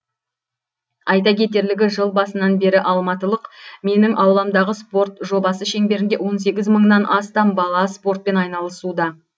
айта кетерлігі жыл басынан бері алматылық менің ауламдағы спорт жобасы шеңберінде он сегіз мыңнан астам бала спортпен айналысуда